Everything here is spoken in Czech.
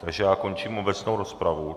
Takže já končím obecnou rozpravu.